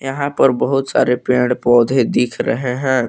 यहां पर बहुत सारे पेड़ पौधे दिख रहे है।